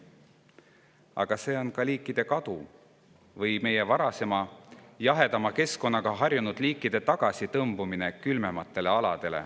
Aga see varasema, jahedama keskkonnaga harjunud liikide kadumises või tagasi tõmbumises külmematele aladele.